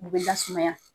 U bɛ da sumaya